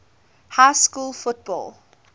high school football